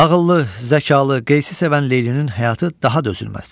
Ağıllı, zəkalı Qeysi sevən Leylinin həyatı daha dözülməzdir.